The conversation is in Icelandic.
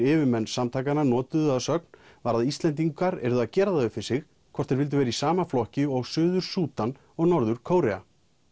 yfirmenn samtakanna notuðu að sögn var að Íslendingar yrðu að gera það upp við sig hvort þeir vildu vera í sama flokki og Suður Súdan og Norður Kórea